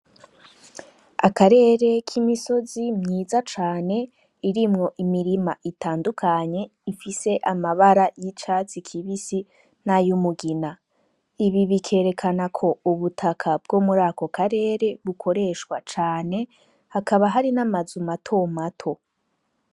Akarere k'imisozi myiza cane irimwo imirima itandukanye ifise amabara y'icatsi kibisi n'ay'umugina. Ibi bikerekana ko ubutaka bwo muri aka karere bukoreshwa cane, hakaba hari n'amazu matomato.